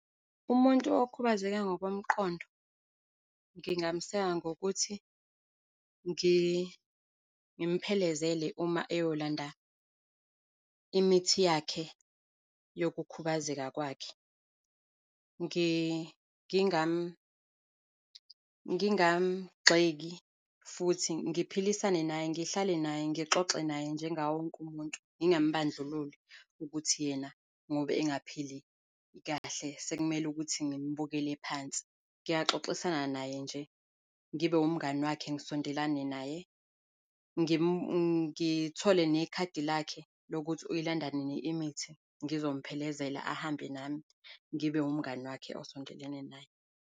Umuntu okhubazekile ngokomqondo, ngingameseka ngokuthi ngimphelezele uma eyolanda imithi yakhe yokukhubazeka kwakhe. Ngingamgxeki futhi ngiphilisane naye, ngihlale naye, ngixoxe naye njengawo wonke umuntu, ngingambandlululi ukuthi yena ngoba engaphili kahle sekumele ukuthi ngimbukele phansi. Ngingaxoxisana naye nje, ngibe umngani wakhe, ngisondelane naye. Ngithole nekhadi lakhe lokuthi uyilanda nini imithi, ngizokuphelezela ahambe nami, ngibe umngani wakhe osondelene naye.